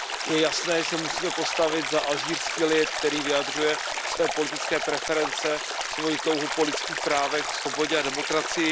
Je jasné, že se musíme postavit za alžírský lid, který vyjadřuje svoje politické preference, svoji touhu po lidských právech, svobodě a demokracii.